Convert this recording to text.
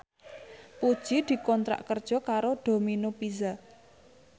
Puji dikontrak kerja karo Domino Pizza